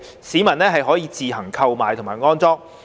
市民可自行購買及安裝。